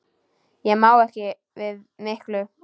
Ég má ekki við miklu.